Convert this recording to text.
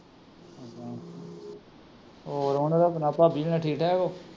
ਹੋਰ ਠੀਕ ਠਾਕ ਓ